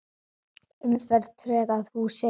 Umferð tröð að húsi ber.